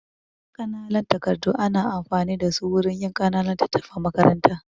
Ƙananan takardu ana amfani da su wurin yin ƙananun littattafan makaranta.